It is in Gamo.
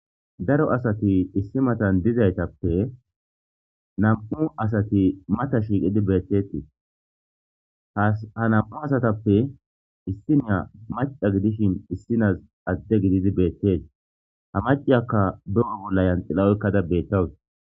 Daro asati issi matan dizaytappe nam7u asati mata shiiqidi beetteetes. Ha nam7u asatappe issinniya macca gidishin issinas adde gididi beettees. Ha maciyakka de7o bolla yanxila oykkada beettawus.